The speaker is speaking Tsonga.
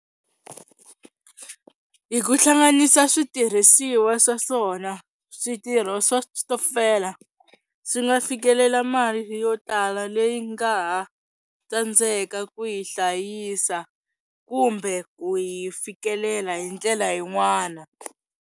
Hi ku hlanganisa switirhisiwa swa swona switirho swa switokofela swi nga fikelela mali yo tala leyi nga ha tsandzeka ku yi hlayisa kumbe ku yi fikelela hi ndlela yin'wana.